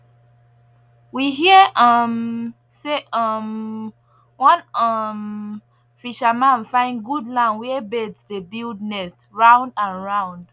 we hear um say um one um fisherman find good land where bird dey build nest round and round